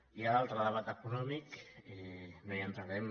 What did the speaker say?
hi ha l’altre debat econòmic no hi entrarem